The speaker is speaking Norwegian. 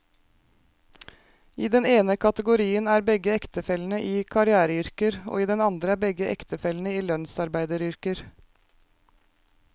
I den ene kategorien er begge ektefellene i karriereyrker, og i den andre er begge ektefellene i lønnsarbeideryrker.